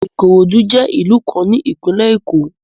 Ikorodu jẹ ilu kan ni Ipinle Eko